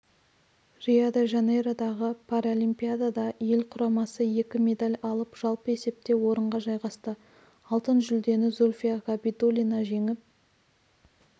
рио-де-жанейродағы паралимпиадада ел құрамасы екі медаль алып жалпы есепте орынға жайғасты алтын жүлдені зүлфия габидуллина жеңіп